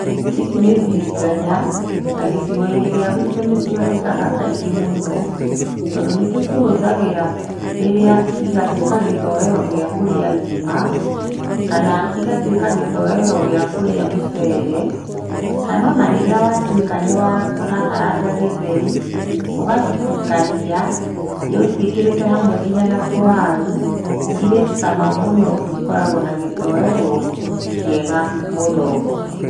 Ici nĩ mbiringanya, na gĩcigoinĩ gĩa gwitũ nĩcioneka kaingĩ mũno, tondũ nĩtũcihũthagĩra rĩrĩa igatuĩka gĩtowero gĩa kũrĩa ngima, kana igatuĩka gĩtowero gĩa kũrĩa mũcere, kana ona rĩrĩa watuĩka nĩwa nĩwarakaranga gĩtheri, ũgacitukania, ĩ ũciĩkĩrĩte hamwe nginya na tũwaru, ĩrĩ cama mũno ikoragwo na gĩtowero kĩega mũno.